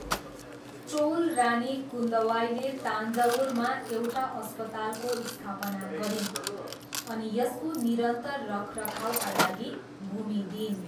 चोल रानी कुन्दवाईले तान्जवुरमा एउटा अस्पतालको स्थापना गरिन् अनि यसको निरन्तर रखरखाउका लागि भूमि दिइन्।